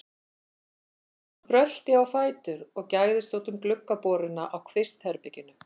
Hann brölti á fætur og gægðist út um gluggaboruna á kvistherberginu.